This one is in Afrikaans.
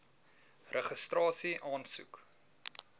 registrasieaansoek